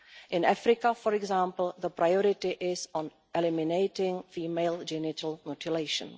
In Africa, for example, the priority is to eliminate female genital mutilation.